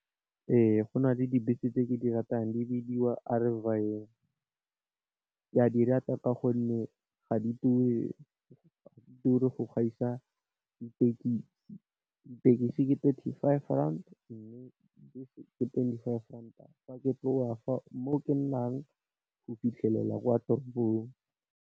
Ee go na le dibese tse ke di ratang di bidiwa ke a dirata ka gonne ga di ture go gaisa di tekesi, di tekesi ke thirty five rand, mme di bese ke twenty five ranta fa ke tloga fa, mo ke nnang go fitlhelela kwa toropong.